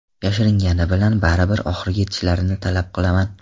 Yashirishgani bilan baribir oxiriga yetishlarini talab qilaman.